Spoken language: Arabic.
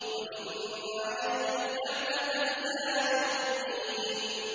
وَإِنَّ عَلَيْكَ اللَّعْنَةَ إِلَىٰ يَوْمِ الدِّينِ